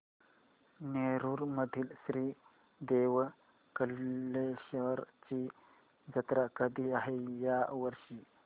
नेरुर मधील श्री देव कलेश्वर ची जत्रा कधी आहे या वर्षी